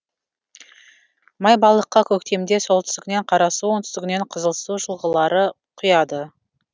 майбалыққа көктемде солтүстігінен қарасу оңтүстігінен қызылсу жылғалары құяды